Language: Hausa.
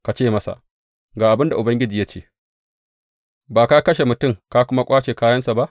Ka ce masa, Ga abin da Ubangiji ya ce, Ba ka kashe mutum ka kuma ƙwace kayansa ba?’